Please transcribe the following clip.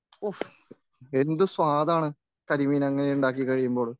ഓഹ് എന്തു സ്വാദാണ്. കരിമീനങ്ങനെ ഉണ്ടാക്കി കഴിയുമ്പോൾ